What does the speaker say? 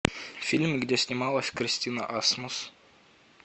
фильм где снималась кристина асмус